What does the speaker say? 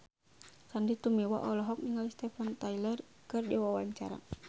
Sandy Tumiwa olohok ningali Steven Tyler keur diwawancara